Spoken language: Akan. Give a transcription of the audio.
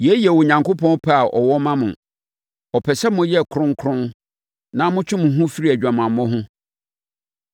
Yei yɛ Onyankopɔn pɛ a ɔwɔ ma mo. Ɔpɛ sɛ moyɛ kronkron na motwe mo ho firi adwamammɔ ho.